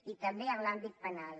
i també en l’àmbit penal